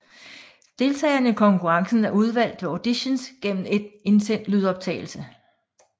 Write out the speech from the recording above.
Deltagerne i konkurrencen er udvalgt ved auditions gennem en indsendt lydoptagelse